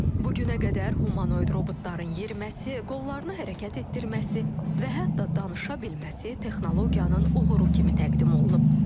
Bugünə qədər humanoid robotların yeriməsi, qollarını hərəkət etdirməsi və hətta danışa bilməsi texnologiyanın uğuru kimi təqdim olunub.